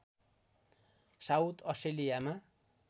south अस्ट्रेलियामा